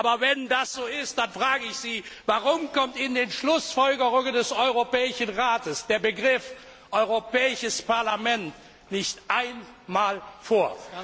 Parlament. Aber wenn das so ist, dann frage ich Sie Warum kommt in den Schlussfolgerungen des Europäischen Rates der Begriff Europäisches Parlament nicht einmal